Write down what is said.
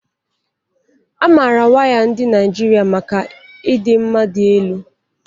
A maara waya ndị Naijiria maka ịdị mma dị elu